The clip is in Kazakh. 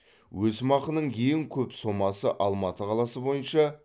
өсімақының ең көп сомасы алматы қаласы бойынша